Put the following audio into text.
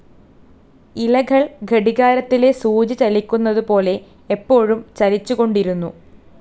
ഇലകൾ ഘടികാരത്തിലെ സൂചി ചലിക്കുന്നതു പോലെ എപ്പോഴും ചലിച്ചുകൊണ്ടിരിക്കുന്നു.